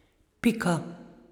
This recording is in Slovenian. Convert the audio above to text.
Pika.